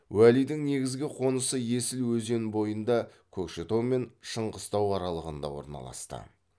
уәлидің негізгі қонысы есіл өзен бойында көкшетау мен шыңғыстау аралығында орналасты